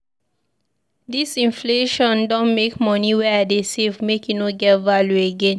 Dis inflation don make moni wey I dey save make e no get value again.